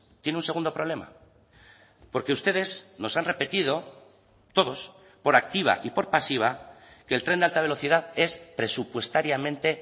tiene un segundo problema porque ustedes nos han repetido todos por activa y por pasiva que el tren de alta velocidad es presupuestariamente